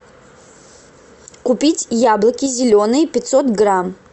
купить яблоки зеленые пятьсот грамм